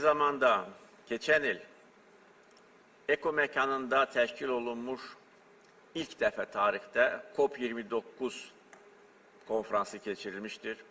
Eyni zamanda keçən il EKO məkanında təşkil olunmuş ilk dəfə tarixdə COP29 konfransı keçirilmişdir.